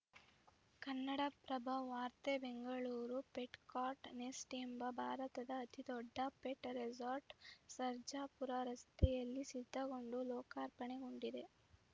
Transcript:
ಕನ್ನಡಪ್ರಭ ವಾರ್ತೆ Bengaluru Petcart Nest ಎಂಬ ಭಾರತದ ಅತಿ ದೊಡ್ಡ ಪೆಟ್‌ ರೆಸಾರ್ಟ್‌ ಸರ್ಜಾಪುರ ರಸ್ತೆಯಲ್ಲಿ ಸಿದ್ಧಗೊಂಡು ಲೋಕಾರ್ಪಣೆಗೊಂಡಿದೆ